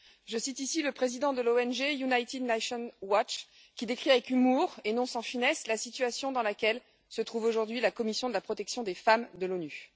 Je cite ici le président de l'ONG United Nations Watch, qui décrit avec humour et non sans finesse la situation dans laquelle se trouve aujourd'hui la commission de la condition de la femme de l'ONU.